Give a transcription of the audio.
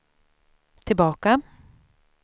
tillbaka